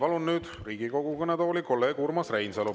Palun nüüd Riigikogu kõnetooli kolleeg Urmas Reinsalu.